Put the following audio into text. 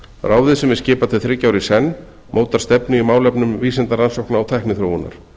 ráðið sem er skipað til þriggja ára í senn mótar stefnu í málefnum vísindarannsókna og tækniþróunar